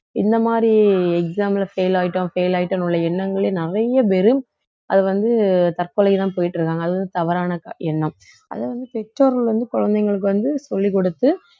இந்த மாதிரி exam ல fail ஆயிட்டோம் fail ஆயிட்டோம் உள்ள எண்ணங்களே நிறைய பேரு அது வந்து தற்கொலைக்குத்தான் போயிட்டு இருக்காங்க அதுவும் தவறான க~ எண்ணம் அது வந்து பெற்றோர்கள் வந்து குழந்தைங்களுக்கு வந்து சொல்லிக் கொடுத்து